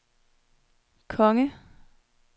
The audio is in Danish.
konge